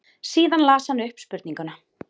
Síðan las hann upp spurninguna.